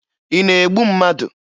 Ị na-egbu mmadụ?